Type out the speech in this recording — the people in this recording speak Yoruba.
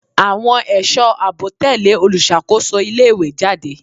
Àwọn ẹ̀sọ́ àbò tẹ̀lẹ́ olùṣàkóso ilé ìwé jáde.